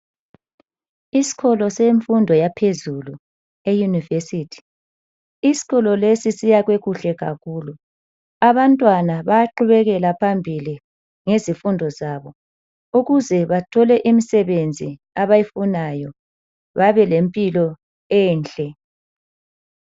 Iskolo semfundo yaphezulu , eyunivesithi. Iskolo lesi siyakwe kuhle kakhulu. Abantwana bayaqubekela phambili ngezifundo zabo ukuze bathole imisebenzi abayifunayo babe lempilo enhle.